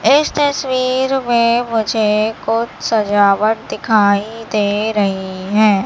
इस तस्वीर में मुझे कुछ सजावट दिखाई दे रही है।